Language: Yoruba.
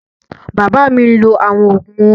Bàbá mi ń lọ àwọn ògùn wọn